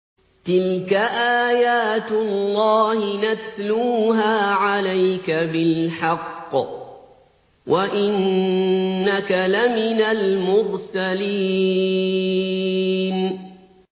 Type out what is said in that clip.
تِلْكَ آيَاتُ اللَّهِ نَتْلُوهَا عَلَيْكَ بِالْحَقِّ ۚ وَإِنَّكَ لَمِنَ الْمُرْسَلِينَ